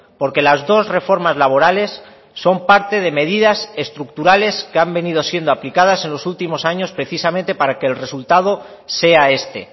porque las dos reformas laborales son parte de medidas estructurales que han venido siendo aplicadas en los últimos años precisamente para que el resultado sea este